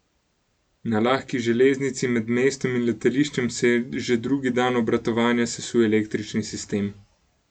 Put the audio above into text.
Na lahki železnici med mestom in letališčem se je že drugi dan obratovanja sesul električni sistem.